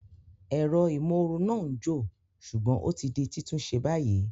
Ẹ̀rọ ìmóoru náà ń jò, ṣùgbọ́n o ti di títún ṣe báyìí